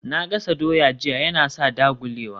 Na gasa doya jiya Yana sa ya dagulewa